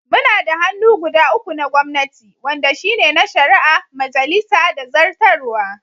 Muna da hannu guda uku na gwamnati wanɗa shine na shari'a, majalisa da zartarwa.